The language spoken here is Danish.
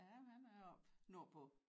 Ja men han er oppe nordpå